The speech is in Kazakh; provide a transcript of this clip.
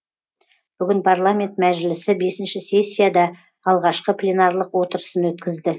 бүгін парламент мәжілісі бесінші сессияда алғашқы пленарлық отырысын өткізді